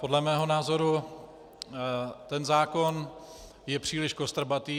Podle mého názoru ten zákon je příliš kostrbatý.